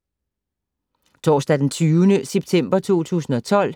Torsdag d. 20. september 2012